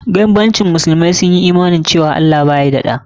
Banbancin kawai shi ne musulmai sun Imani cewa Allah baya da ɗa.